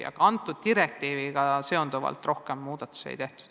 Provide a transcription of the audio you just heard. Kõnealuse direktiiviga seonduvalt rohkem muudatusi ei tehtud.